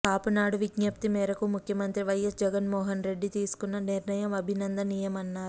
కాపునాడు విజ్ఞప్తి మేరకు ముఖ్యమంత్రి వైఎస్ జగన్మోహన్రెడ్డి తీసుకున్న నిర్ణయం అభినందనీయమన్నారు